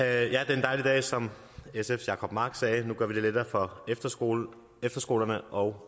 er en dejlig dag som sfs jacob mark sagde nu gør vi det lettere for efterskolerne efterskolerne og